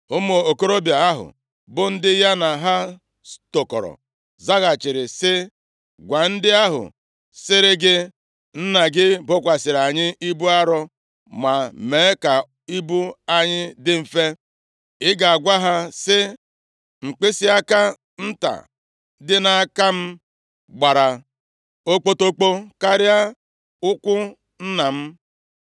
Ụmụ okorobịa ahụ, bụ ndị ya na ha tokọrọ, zaghachiri sị, “Gwa ndị ahụ sịrị gị, ‘Nna gị bokwasịrị anyị ibu arọ, ma mee ka ibu anyị dị mfe,’ ị ga-agwa ha, sị, ‘Mkpịsịaka nta dị nʼaka m gbara okpotokpo karịa ukwu nna m.